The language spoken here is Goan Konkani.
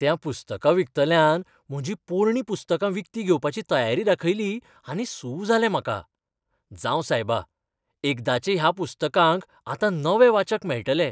त्या पुस्तकां विकतल्यान म्हजीं पोरणीं पुस्तकां विकतीं घेवपाची तयारी दाखयली आनी सू जालें म्हाका. जावं सायबा, एकदाचे ह्या पुस्तकांक आतां नवे वाचक मेळटले.